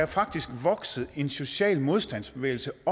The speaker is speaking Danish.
faktisk vokset en social modstandsbevægelse